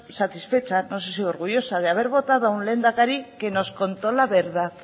satisfecha no sé si orgullosa de haber votado a un lehendakari que nos contó la verdad